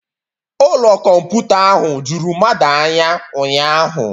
Ụlọ kọmputa ahụ juru mmadụ anya ụnyahụ